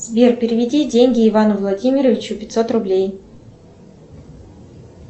сбер переведи деньги ивану владимировичу пятьсот рублей